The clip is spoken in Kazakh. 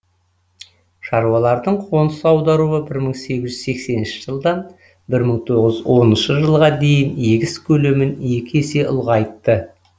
шаруалардың қоныс аударуы бір мың сегіз жүз сексенінші жылдан бір мың тоғыз жүз оныншы жылға дейін егіс көлемін екі есе ұлғайтты